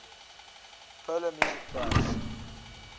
polar music prize